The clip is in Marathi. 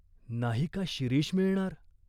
नाही का शिरीष मिळणार?